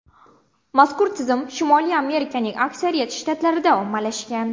Mazkur tizim Shimoliy Amerikaning aksariyat shtatlarida ommalashgan.